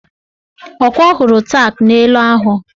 Ọkwa ọ hụrụ tak nelụ ahụ?